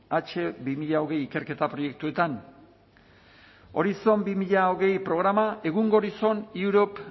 hache hogei hogei ikerketa proiektuetan horizon dos mil veinte programa egungo horizon europe